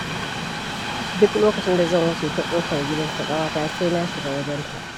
Duk lokacin da zan wuce ta ƙafar gidan su ƙawata, sai na shiga wajenta.